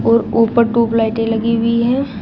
और ऊपर ट्यूबलाइटे लगी हुई है।